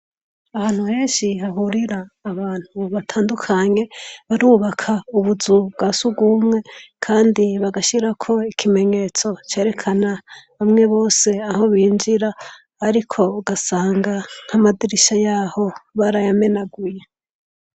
Ahantu henshi hahurira abantu batandukanye, barubaka ubuzu bwa surwumwe kandi bagashirako ikimenyetso cerekana bamwe bose aho binjira, ariko ugasanga nk'amadirisha y'aho barayamenaguye.